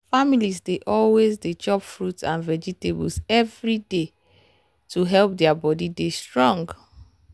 families dey always dey chop fruit and vegetables every day day to help their body dey strong.